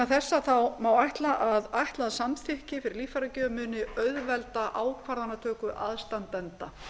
þessa má ætla að ætlað samþykki fyrir líffæragjöf muni auðvelda ákvarðanatöku aðstandenda